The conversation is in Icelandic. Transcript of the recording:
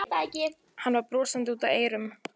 Hann var brosandi út að eyrum.